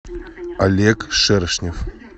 олег шершнев